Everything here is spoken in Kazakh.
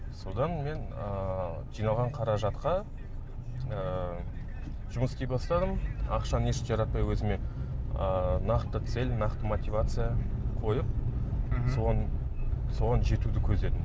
содан мен ыыы жиналған қаражатқа ыыы жұмыс істей бастадым ақшаны еш жаратпай өзіме ыыы нақты цель нақты мотивация қойып соған соған жетуді көздедім